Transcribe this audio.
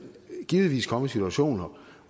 givetvis komme i situationer